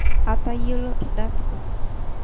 aatayiolo irr`dat kutitik